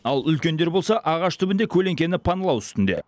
ал үлкендер болса ағаш түбінде көлеңкені паналау үстінде